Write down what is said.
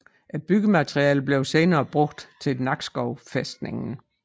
Byggematerialerne blev senere brugt til Nakskov fæstning